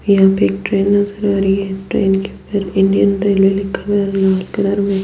यहाँ पे एक ट्रैन नज़र आ रही है ट्रेन के ऊपर इंडियन रेलवे लिखा हुआ है लाल कलर में --